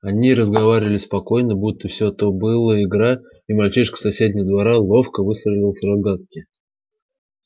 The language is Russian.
они разговаривали спокойно будто все то была игра и мальчишка с соседнего двора ловко выстрелил из рогатки